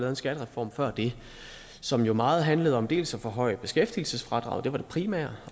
en skattereform før det som jo meget handlede om dels at forhøje beskæftigelsesfradraget det var det primære